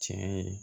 Tiɲɛ ye